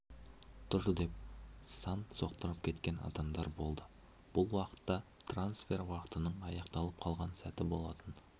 тұр деп сан соқтырып кеткен адамдар болды бұл уақытта трансфер уақытының аяқталып қалған сәті болатын